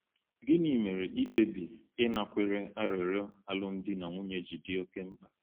Gịnị mere ikpebi ịnakwere arịrịọ alụmdi na nwunye ji dị oke mkpa?